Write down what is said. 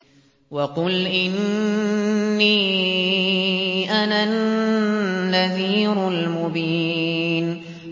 وَقُلْ إِنِّي أَنَا النَّذِيرُ الْمُبِينُ